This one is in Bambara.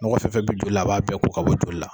Nɔgɔ fɛn fɛn bɛ joli la a b'a bɛɛ' ka bɔ joli la.